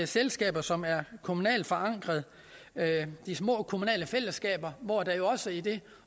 selskaber som er kommunalt forankrede altså de små kommunale fællesskaber hvor det også i det